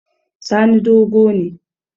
Sani dogo ne